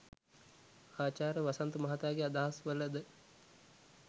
ආචාර්ය වසන්ත මහතාගේ අදහස් වල ද